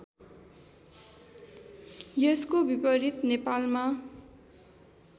यसको विपरीत नेपालमा